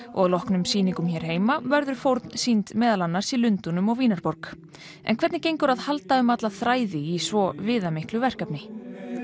og að loknum sýningum hér heima verður fórn sýnd meðal annars í Lundúnum og Vínarborg en hvernig gengur að halda um alla þræði í svo viðamiklu verkefni